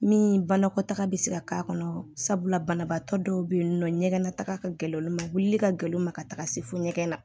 Min banakɔtaga bɛ se ka k'a kɔnɔ sabula banabaatɔ dɔw bɛ yen nɔ ɲɛgɛn na taga ka gɛlɛn olu ma wuli ka gɛlɛn u ma ka taga se fo ɲɛgɛn na